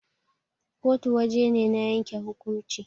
kotu waje ne na yanke hukumnci